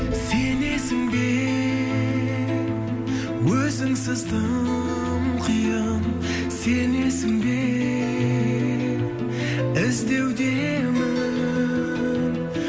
сенесің бе өзіңсіз тым қиын сенесің бе іздеудемін